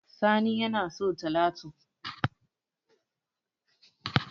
Sani yana so talatu